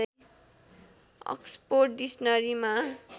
Oxford डिक्सनरीमा